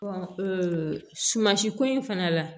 sumansi ko in fana la